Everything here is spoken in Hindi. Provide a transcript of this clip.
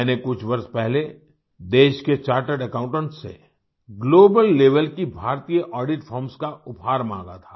मैंने कुछ वर्ष पहले देश के चार्टर्ड अकाउंटेंट्स से ग्लोबल लेवल की भारतीय ऑडिट फर्म्स का उपहार माँगा था